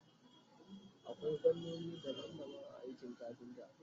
akwai fannoni daban daban a aikin kafinta